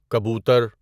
کبوتر